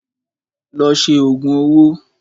Lọ ṣe òògùn owó!